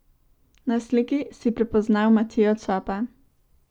Na sliki si prepoznal Matijo Čopa.